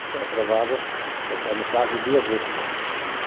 Ele aprovava, conforme o caso, duas versões.